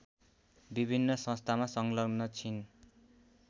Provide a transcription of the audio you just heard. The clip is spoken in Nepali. विभिन्न संस्थामा संलग्न छिन्